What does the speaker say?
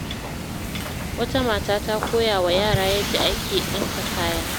Wata mata ta koya wa yara yadda ake ɗinka kaya.